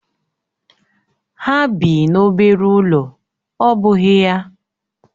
Ha bị n'obere ụlọ ọ́ bụghị ya?